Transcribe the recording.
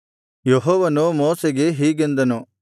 ಯೆಹೋವನು ಮೋಶೆಗೆ ಹೀಗೆಂದನು